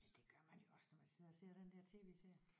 Men det gør man jo også når man sidder og ser den der TV-serie